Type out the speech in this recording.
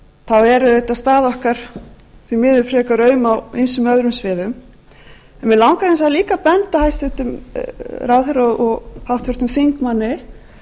þá er auðvitað staða okkar því miður frekar aum á ýmsum öðrum sviðum en mig langar hins vegar líka að benda hæstvirtum ráðherra og háttvirtum þingmanni